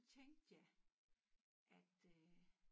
Tænkte jeg at øh